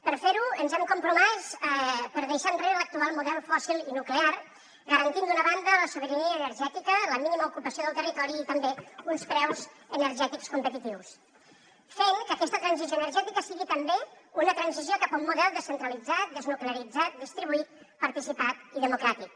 per fer ho ens hem compromès per deixar enrere l’actual model fòssil i nuclear garantint d’una banda la sobirania energètica la mínima ocupació del territori i també uns preus energètics competitius fent que aquesta transició energètica sigui també una transició cap a un model descentralitzat desnuclearitzat distribuït participat i democràtic